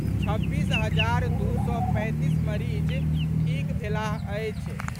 छब्बीस हजार दू सय पैंतीस मरीज ठीक भेलाह अछि।